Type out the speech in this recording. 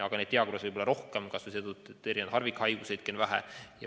Aga neid diagnoose võib olla rohkem, kas või seetõttu, et on mitmesuguseid harvikhaiguseid.